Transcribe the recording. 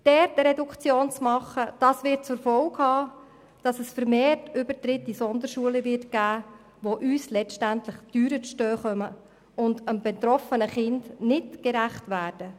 Eine Reduktion in diesem Bereich hat zur Folge, dass es vermehrt Übertritte in Sonderschulen geben wird, die uns letztendlich teurer zu stehen kommen und dem betroffenen Kind nicht gerecht werden.